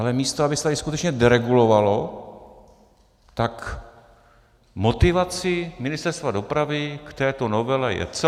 Ale místo aby se tady skutečně deregulovalo, tak motivací Ministerstva dopravy k této novele je co?